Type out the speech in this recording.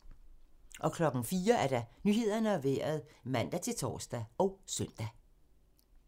04:00: Nyhederne og Vejret (man-tor og søn)